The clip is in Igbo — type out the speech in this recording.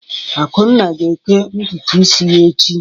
Akunna ga-ékẹ́ ntutu isi ya echi.